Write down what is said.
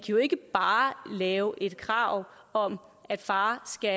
jo ikke bare lave et krav om at faren skal